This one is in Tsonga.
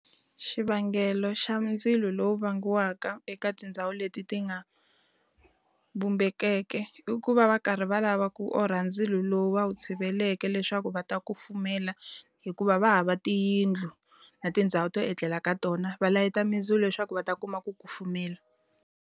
Xivangelo xa mindzilo lowu vangiwaka eka tindhawu leti ti nga vumbekeke, i ku va va karhi va lava ku orha ndzilo lowu va wu tshiveleke leswaku va ta kufumela. Hikuva va hava tiyindlu na tindhawu to etlela ka tona, va layita mindzilo leswaku va ta kuma ku kufumela.